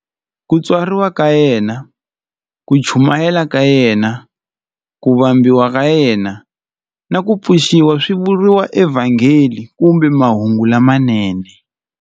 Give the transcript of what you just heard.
Ku tswariwa ka yena, ku chumayela ka yena, ku vambiwa ka yena, na ku pfuxiwa swi vuriwa eVhangeli kumbe Mahungu lamanene.